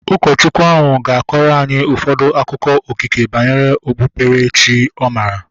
Ụkọchukwu ahu ga-akọrọ anyị ụfọdụ akụkọ okike banyere okpukpere chi ọ maara